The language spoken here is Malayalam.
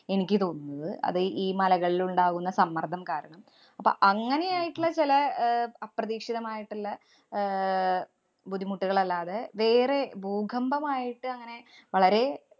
എനിക്ക് തോന്നുന്നത്. അത് ഈ മലകളിലുണ്ടാകുന്ന സമ്മര്‍ദ്ദം കാരണം അപ്പൊ അങ്ങനെയായിട്ടുള്ള ചെല അഹ് അപ്രതീക്ഷിതമായിട്ടുള്ള ആഹ് ബുദ്ധിമുട്ടുകളല്ലാതെ വേറെ ഭൂകമ്പമായിട്ട് അങ്ങനെ വളരെ